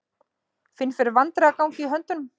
Finn fyrir vandræðagangi í höndunum.